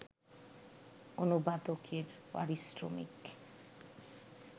অনুবাদকের পারিশ্রমিক